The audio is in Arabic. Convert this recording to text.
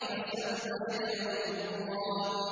فَسَوْفَ يَدْعُو ثُبُورًا